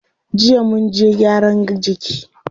Jiya munje gyaran jiki.